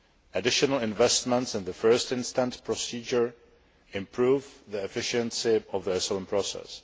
Additional investments in the first instance procedure improve the efficiency of the asylum process.